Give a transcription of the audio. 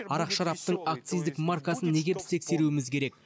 арақ шараптың акциздік маркасын неге біз тексеруіміз керек